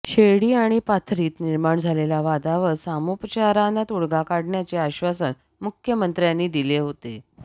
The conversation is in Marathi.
शिर्डी आणि पाथरीत निर्माण झालेल्या वादावर सामोपचारानं तोडगा काढण्याचे आश्वासन मुख्यमंत्र्यांनी दिले होते